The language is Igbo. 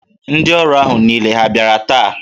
Ndị ọrụ ahụ niile ha bịara taa?